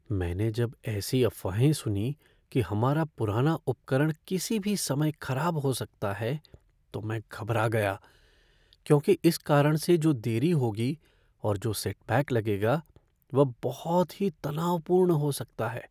मैंने जब ऐसी अफवाहें सुनीं कि हमारा पुराना उपकरण किसी भी समय खराब हो सकता है तो मैं घबरा गया, क्योंकि इस कारण से जो देरी होगी और जो सेटबैक लगेगा वह बहुत ही तनावपूर्ण हो सकता है।